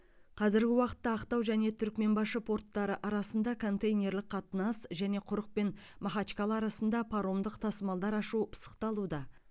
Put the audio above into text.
қазіргі уақытта ақтау және түрікменбашы порттары арасында контейнерлік қатынас және құрық пен махачкала арасында паромдық тасымалдар ашу пысықталуда